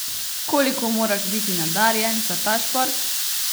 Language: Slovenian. Koliko moraš biti nadarjen za ta šport?